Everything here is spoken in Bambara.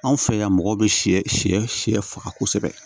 Anw fɛ yan mɔgɔw bɛ sɛ si siɲɛ faga kosɛbɛ